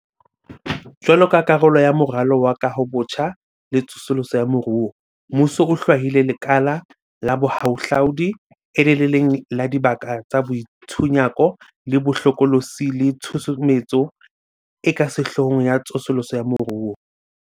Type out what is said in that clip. Jwaloka karolo ya Moralo wa Kahobotjha le Tsosoloso ya Moruo, mmuso o hlwaile lekala la bohahlaudi e le le leng la dibaka tsa boitshunyako bo hlokolosi le tshusumetso e ka sehloohong ya tsosoloso ya moruo.